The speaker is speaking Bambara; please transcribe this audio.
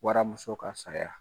Wara muso ka saya.